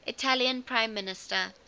italian prime minister